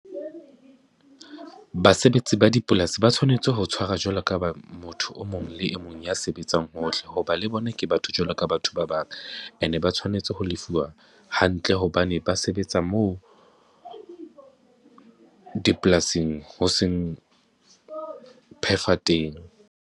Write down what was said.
Basebetsi ba dipolasi ba tshwanetse ho tshwara jwalo ka ba motho o mong le e mong ya sebetsang hohle ho ba le bona ke batho jwalo ka batho ba bang, ene ba tshwanetse ho lefuwa hantle hobane ba sebetsa moo dipolasing ho seng phefa teng.